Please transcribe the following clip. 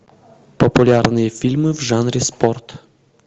популярные фильмы в жанре спорт